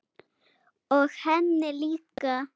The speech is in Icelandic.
Og henni líka.